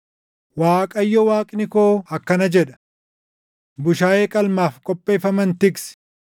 Waaqayyo Waaqni koo akkana jedha: “Bushaayee qalmaaf qopheeffaman tiksi.